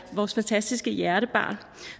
vores fantastiske hjertebarn